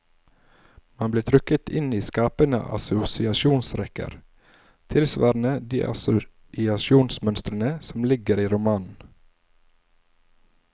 Man blir trukket inn i skapende assosiasjonsrekker, tilsvarende de assosiasjonsmønstrene som ligger i romanen.